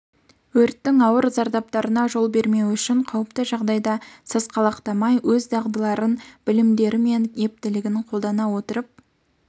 өрттің ауыр зардаптарына жол бермеу үшін қауіпті жағдайда сасқалақтамай өз дағдыларын білімдері мен ептілігін қолдана отырып